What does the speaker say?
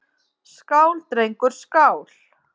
Skál, drengur, skál!